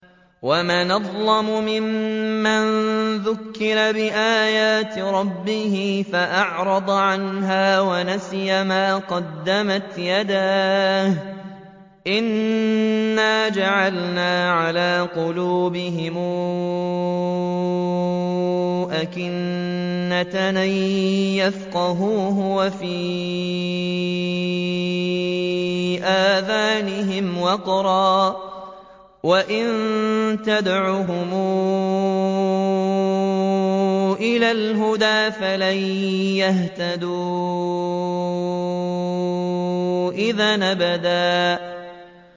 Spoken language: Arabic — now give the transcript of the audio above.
وَمَنْ أَظْلَمُ مِمَّن ذُكِّرَ بِآيَاتِ رَبِّهِ فَأَعْرَضَ عَنْهَا وَنَسِيَ مَا قَدَّمَتْ يَدَاهُ ۚ إِنَّا جَعَلْنَا عَلَىٰ قُلُوبِهِمْ أَكِنَّةً أَن يَفْقَهُوهُ وَفِي آذَانِهِمْ وَقْرًا ۖ وَإِن تَدْعُهُمْ إِلَى الْهُدَىٰ فَلَن يَهْتَدُوا إِذًا أَبَدًا